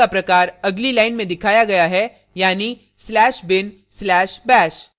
shell का प्रकार अगली line में दिखाया गया है यानि slash bin slash bash